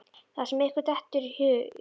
Það sem ykkur dettur í hug!